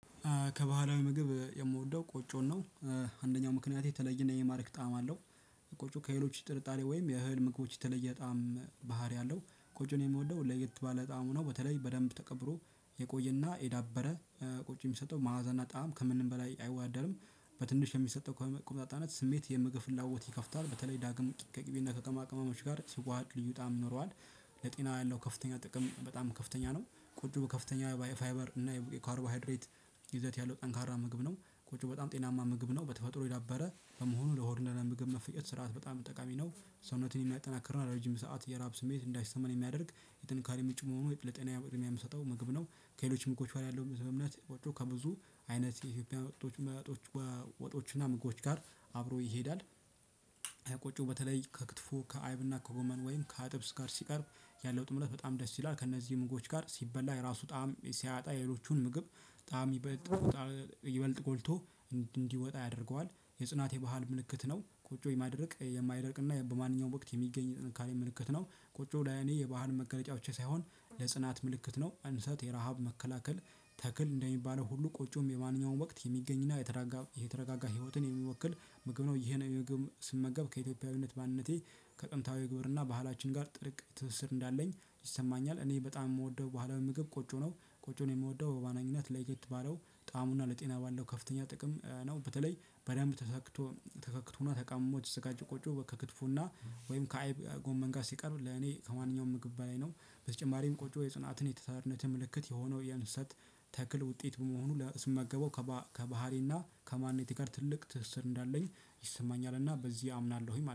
ከባህላዊ ምግብ የምወደው ቆጮን ነው አንደኛው ምክንያቴ የተለየ የሚማርክ ጣዕም አለው። ቆጮ ከሌሎች ጥርጣሬ ወይም የእህል ምግቦች የተለየ ጣዕም ባህሪ አለው ቆጮን የምወደው ለየት ባለ ጣዕሙ ነው በተለይ በደንብ ተቀብሮ የቆየና የዳበረ ቆጮ የሚሰጠው ማዕዛና ጣዕም ከምንም በላይ አይወዳደርም። በትንሽ የሚሰጠው ቆምጣጣነት ስሜት የምግብ ፍላጎት ይከፍታል በተለይ ዳግም ከቂቤና ከቅመማቅመሞች ጋር ሲዋሃድ ልዩ ጣዕም ይኖረዋል። ለጤና ያለው ከፍተኛ ጥቅም በጣም ከፍተኛ ነው። ቆጮ ከፍተኛ ባይ ፋይበር እና የካርቦሃድሬት ይዘት ያለው ጠንካራ ምግብ ነው። ቆጮ በጣም ጤናማ ምግብ ነው በተፈጥሮ የዳበረ በመሆኑ ለሆድ ምግብ መፈጨት ስርዓት በጣም ጠቃሚ ነው። ሰውነትን የሚያጠናክርና ለረጅም ሰዓት የራብ ስሜት እንዳይሰማን የሚያደርግ የጥንካሬ ምጭ መሆኑ የጥልጠና የምሰጠው ምግብ ነው። ከሌሎችም እኮ ችሏል ያለው በእምነት ቆጮ ከብዙ አይነት የኢትዮጵያ ወጦች ወጦች ወጦች እና ምግቦች ጋር አብሮ ይሄዳል። የቆጮ በተለይ ከክትፎ ከአይብና ከጎመን ወይም ከአጥብስ ጋር ሲቀርብ ያለው ጥምረት በጣም ደስ ይላል ከእነዚህ ምግቦች ጋር ሲበላ የራሱ ጣዕም ሲያጣ የሌሎቹን ምግብ ጣዕም ይበልጥ ይበልጥ ጎልቶ እንዲወጣ ያደርገዋል። የጽናት የባህል ምልክት ነው ቆጮ የማይደርቅ የማይረቅ እና በማንኛውም ወቅት የሚገኝ ጥንካሬ ምልክት ነው። ቁጭ ብላ የኔ የባህን መገለጫዎች ሳይሆን ለጽናት ምልክት ነው እንሰት የረሃብ መከላከል ተክል እንደሚባለው ሁሉ ቆጮም የማንኛውም ወቅት የሚገኝና የተረጋጋ ህይወትን የሚወክል ምግብ ነው። ይሄን ስመገብ ከኢትዮጵያዊነት ማንነቴ ከጥንታዊ ግብርና ባህላችን ጋር ጥርቅ ትስስር እንዳለኝ ይሰማኛል። እኔ በጣም የምወደው በኋላ ምግብ ቆጮ ነው። ቆጮን የምወደው በዋነኝነት ለየት ባለው ጣዕሙና ለጤና ባለው ከፍተኛ ጥቅም ነው። በተለይ በዳም ተሰክቶ ተከክቶና ተቀምሞ ተዘጋጅ ቆጮ ከክትፉና ወይም ከአይብ ጎመን ጋር ሲቀርቡ ለኔ ከማንኛውም ምግብ በላይ ነው። በተጨማሪም ቆጮ የጽናትን የታታርነትን ምልክት የሆነው የእንሰት ተክል ውጤት በመሆኑ ስመገበው ከባህሪና ከማንነቴ ጋር ትልቅ ትስስር እንዳለኝ ይሰማኛልና በዚህ አምናለሁኝ ማለት